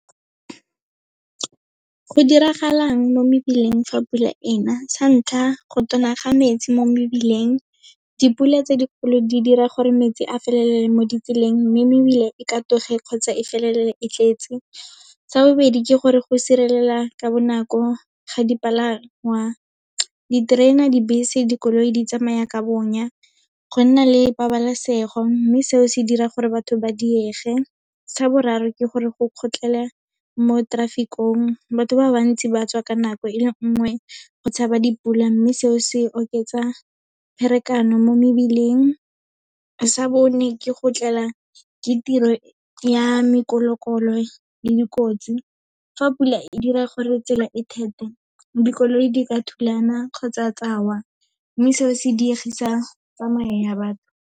Go diragalang mo mebileng fa pula ena, sa ntlha, go ga metsi mo mebileng, dipula tse dikgolo di dira gore metsi a felele mo ditseleng, mme mebile e katoge kgotsa e felele e tletse. Sa bobedi ke gore go ka bonako ga dipalangwa, diterena, dibese, dikoloi, di tsamaya ka bonya, go nna le pabalesego, mme seo se dira gore batho ba diege. Sa boraro, ke gore go kgotlhela mo traffic-ong, batho ba bantsi ba tswa ka nako e le nngwe, go tshaba dipula, mme seo se oketsa pherekano mo mebileng. Sa bone, ke go tlela ke tiro ya le dikotsi. Fa pula e dira gore tsela e , dikoloi di ka thulana kgotsa tsa wa, mme seo se diegise tsamayo ya batho.